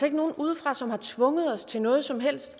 ikke nogen udefra som har tvunget os til noget som helst